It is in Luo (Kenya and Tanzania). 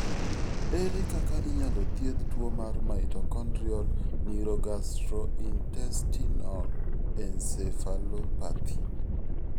Ere kaka inyalo thiedh tuwo mar mitochondrial neurogastrointestinal encephalopathy?